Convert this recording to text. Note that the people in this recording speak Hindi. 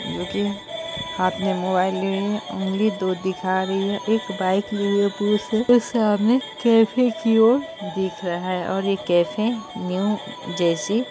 जोकि हाथ में मोबाइल लिए ऊँगली दो दिखा रही है एक बाइक लिए हुए सामने कैफ़े की ओर दिख रहा है और ये कैफ़े न्यू जैसी-- --